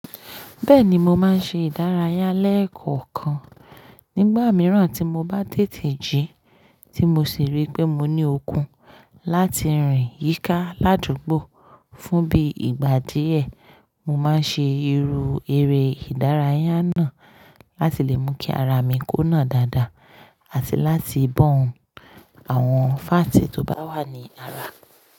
Bẹ́ẹ̀ni, mo máa ń ṣe ìdárayá lẹ́ẹ̀kọ̀kan. Nígbà mìíràn tí mo bá tètè jí tí mo sì rí pé mo ní okun láti rìn yíká ládùúgbò fún bí i ìgbà díẹ̀, mo máa ṣe irú eré ìdárayá náà láti lè mú kí ara mi kùnà dáadáa àti láti bọ̀n àwọn fáàtì tó bá wà ní ara.